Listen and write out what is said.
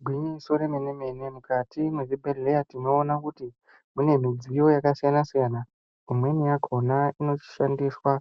Igwinyiso remene-mene mukati mwezvibhehleya tinoona kuti mune midziyo yakasiyana-siyana. Imweni yakona inoshandiswa